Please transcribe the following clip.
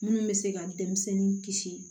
Minnu bɛ se ka denmisɛnnin kisi